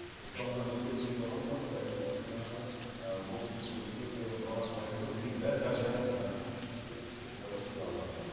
мысалға менде төрт балам бар сіз айтывотқандай жаңағы ыыы біз төрт баланы тәрбиелеп отырмын мен бар жағдайымыз бар тәуба шүкір аллаға